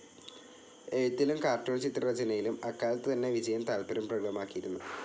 എഴുത്തിലും കാർട്ടൂൺചിത്ര രചനയിലും അക്കാലത്തുതന്നെ വിജയൻ താല്പര്യം പ്രകടമാക്കിയിരുന്നു.